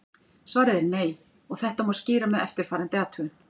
Svarið er nei og þetta má skýra með eftirfarandi athugun.